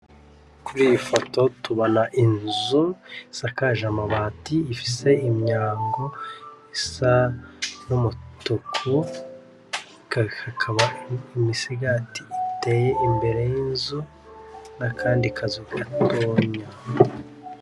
Kuriyi foto tubona inzu isakaje amabati ifise imyango isa n'umutuku hakaba imisigati iteye imbere y'inzu nakandi kazu gatonya.